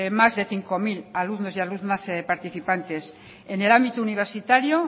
más de cinco mil alumnos y alumnas participantes en el ámbito universitario